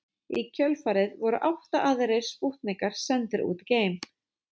Í kjölfarið voru átta aðrir spútnikar sendir út í geiminn.